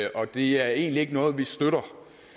og det er egentlig ikke noget vi støtter